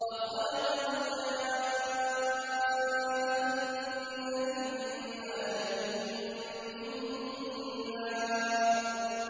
وَخَلَقَ الْجَانَّ مِن مَّارِجٍ مِّن نَّارٍ